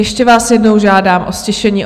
Ještě vás jednou žádám o ztišení.